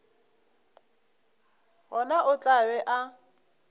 gona o tla be a